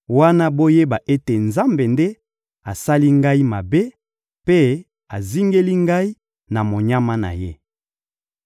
wana boyeba ete Nzambe nde asali ngai mabe mpe azingeli ngai na monyama na Ye.